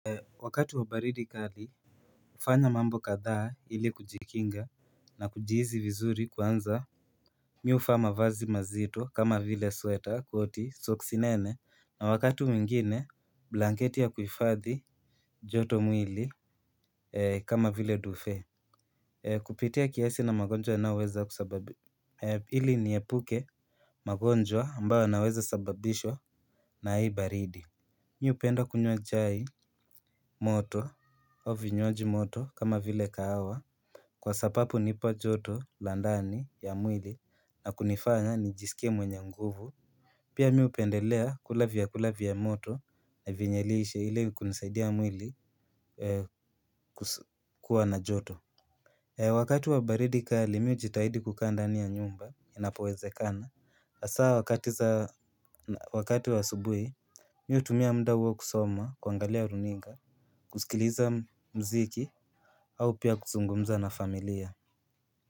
Wakati wa baridi kali ufanya mambo kadhaa hili kujikinga na kujihizi vizuri kwanza mi hufaa mavazi mazito kama vile sweater koti soksi nene na wakatu mwingine blanketi ya kuifadhi joto mwili kama vile dufe kupitia kiasi na ili niepuke magonjwa ambayo yanaweza sababishwa na hii baridi. Mi hupenda kunywa chai moto au vinywaji moto kama vile kahawa. Kwa sapapu nipa joto la ndani ya mwili na kunifanya nijisikie mwenye nguvu. Pia mi hupendelea kula vyakula vya moto na vyenye lishe ili kunisaidia mwili kuwa na joto. Wakati wa baridi kali mi hujitahidi kukaa ndani ya nyumba inapowezekana. Asaa wakati wa asubui, mi hutumia muda hutumia muda huo kusoma kuangalia runinga, kusikiliza mziki au pia kuzungumza na familia.